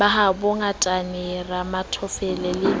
ba habo ngatane ramafothole le